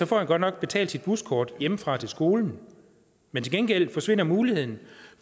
får godt nok betalt sit buskort hjemmefra og til skolen men til gengæld forsvinder muligheden